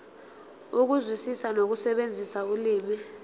ukuzwisisa nokusebenzisa ulimi